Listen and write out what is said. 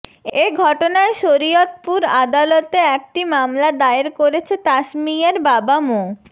এ ঘটনায় শরীয়তপুর আদালতে একটি মামলা দায়ের করেছে তাসমিয়ার বাবা মো